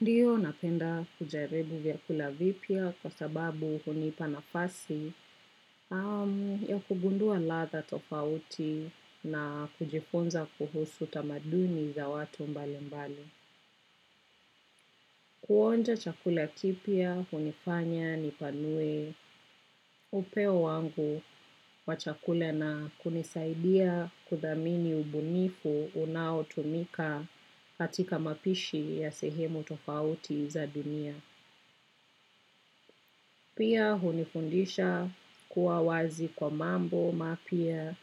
Ndiyo napenda kujaribu vyakula vipya kwa sababu hunipa nafasi ya kugundua ladha tofauti na kujifunza kuhusu tamaduni za watu mbali mbali. Kuonja chakula kipya hunifanya nipanue upeo wangu wa chakula na kunisaidia kuthamini ubunifu unaotumika katika mapishi ya sehemu tofauti za dunia. Pia hunifundisha kuwa wazi kwa mambo mapya